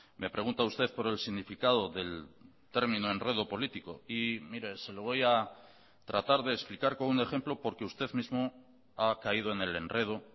me pregunta usted por el significado del término enredo político y mire se lo voy a tratar de explicar con un ejemplo porque usted mismo ha caído en el enredo